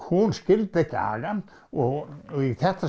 hún skildi ekki agann og í þetta